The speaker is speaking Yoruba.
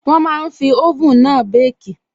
Wọ́n máa n fi oven náà békì